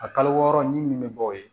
A kalo wɔɔrɔ ni min bɛ bɔ o ye